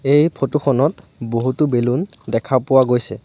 এই ফটো খনত বহুতো বেলুন দেখা পোৱা গৈছে।